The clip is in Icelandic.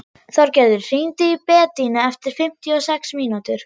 Þorgerður, hringdu í Bedínu eftir fimmtíu og sex mínútur.